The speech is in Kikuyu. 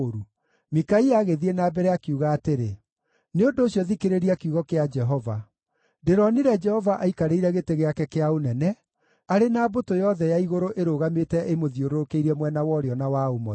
Mikaia agĩthiĩ na mbere, akiuga atĩrĩ, “Nĩ ũndũ ũcio thikĩrĩria kiugo kĩa Jehova: Ndĩronire Jehova aikarĩire gĩtĩ gĩake kĩa ũnene, arĩ na mbũtũ yothe ya igũrũ ĩrũgamĩte ĩmũthiũrũrũkĩirie mwena wa ũrĩo na wa ũmotho.